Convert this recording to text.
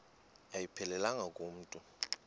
ayiphelelanga ku mntu